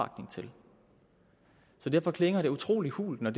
så derfor klinger det utrolig hult når